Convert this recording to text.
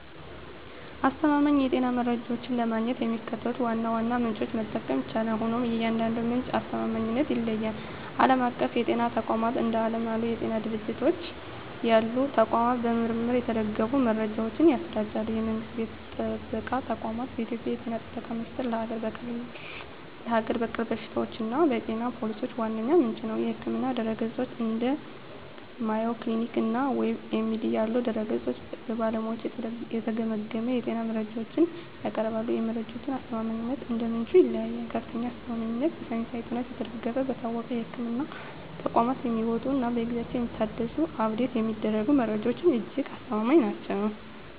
አስተማማኝ የጤና መረጃዎችን ለማግኘት የሚከተሉትን ዋና ዋና ምንጮች መጠቀም ይቻላል፤ ሆኖም የእያንዳንዱ ምንጭ አስተማማኝነት ይለያያል። ዓለም አቀፍ የጤና ተቋማት፦ እንደ ዓለም የጤና ድርጅት (WHO) ያሉ ተቋማት በምርምር የተደገፉ መረጃዎችን ያሰራጫሉ። የመንግስት ጤና ጥበቃ ተቋማት፦ በኢትዮጵያ የ ጤና ጥበቃ ሚኒስቴር ለሀገር በቀል በሽታዎችና የጤና ፖሊሲዎች ዋነኛ ምንጭ ነው። የሕክምና ድረ-ገጾች፦ እንደ Mayo Clinic እና WebMD ያሉ ድረ-ገጾች በባለሙያዎች የተገመገሙ የጤና መረጃዎችን ያቀርባሉ። የመረጃዎቹ አስተማማኝነት እንደ ምንጩ ይለያያል፦ ከፍተኛ አስተማማኝነት፦ በሳይንሳዊ ጥናት የተደገፉ፣ በታወቁ የሕክምና ተቋማት የሚወጡ እና በየጊዜው የሚታደሱ (Update የሚደረጉ) መረጃዎች እጅግ አስተማማኝ ናቸው።